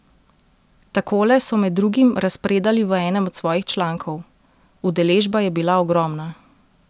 Takole so med drugim razpredali v enem od svojih člankov: "Udeležba je bila ogromna.